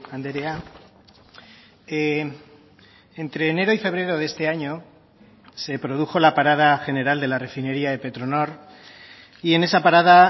andrea entre enero y febrero de este año se produjo la parada general de la refinería de petronor y en esa parada